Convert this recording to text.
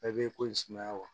Bɛɛ b'i ko in sumaya wa